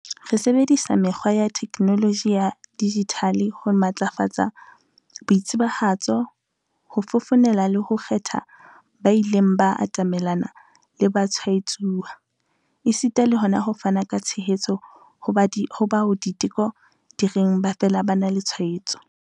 Re sebedisa mekgwa ya theknoloji ya dijithale ho matlafatsa boitsebahatso, ho fofonela le ho kgethela ba ileng ba atamelana le batshwaetsuwa, esita le hona ho fana ka tshehetso ho bao diteko di reng ba fela ba na le tshwaetso.